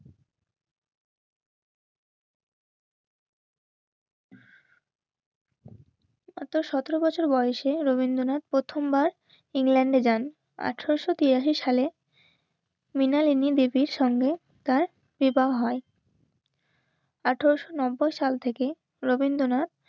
মাত্র সতেরো বছর অর্থাৎ সতেরো বছর বয়সে রবীন্দ্রনাথ প্রথমবার ইংল্যান্ডে যান. আঠারোশো তিরাশি সালে মৃণালিনী দেবীর সঙ্গে তার বিবাহ হয়. আঠারোশো নব্বই সাল থেকে রবীন্দ্রনাথ